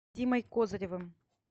димой козыревым